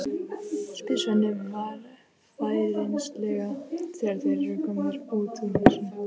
spyr Svenni varfærnislega þegar þeir eru komnir út úr húsinu.